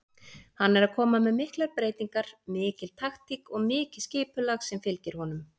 Hann er að koma með miklar breytingar, mikil taktík og mikið skipulag sem fylgir honum.